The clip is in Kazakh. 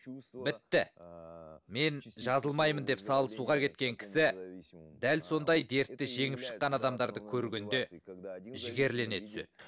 бітті мен жазылмаймын деп салы суға кеткен кісі дәл сондай дертті жеңіп шыққан адамдарды көргенде жігерлене түседі